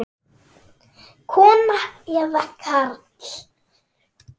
Kona eða karl?